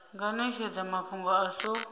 nga netshedza mafhungo a so